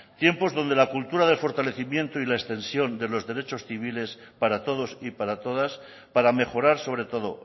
tiempos donde la cultura de fortalecimiento y la extensión de los derechos civiles para todos y para todas para mejorar sobre todo